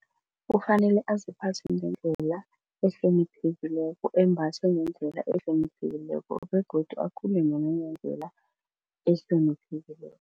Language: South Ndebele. Kufanele aziphathe ngendlela ehloniphekileko embathe ngendlela ehloniphekileko begodu nangendlela ehloniphekileko.